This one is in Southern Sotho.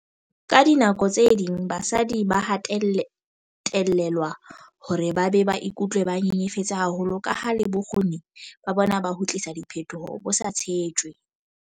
"Ka dinako tse ding basadi ba hatellelwa hore ba be ba ikutlwe ba nyenyefetse haholo kaha le bokgoni ba bona ba ho tlisa diphetoho bo sa tshetjwe."